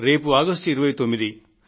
రేపు ఆగస్టు 29